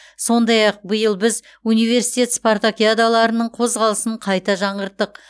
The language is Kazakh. сондай ақ биыл біз университет спартакиадаларының қозғалысын қайта жаңғырттық